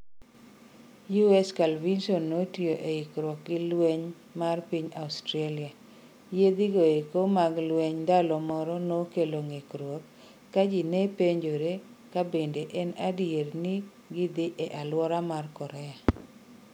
USS Carl Vinson notiyo e ikruok gi Jolweny mar piny Australia. Yiedhi go eko mag lwenyndalo moro nokelo ngikruok ka jii nepenjore kabende en adieri ni gidhi e aluora mar Korea